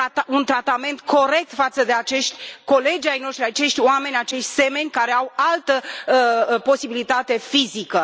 un tratament corect față de acești colegi ai noștri, acești oameni, acest semeni care au altă posibilitate fizică.